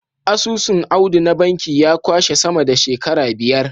Asusun Audu na banki ya kwashe sama da shekara biyar.